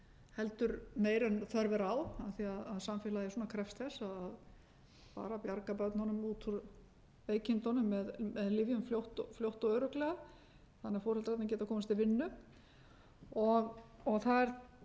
heldur meira en þörf er á af því að samfélagið krefst þess að bara bjarga börnunum út úr veikindunum með lyfjum fljótt og örugglega þannig að foreldrarnir geti komist til vinnu það er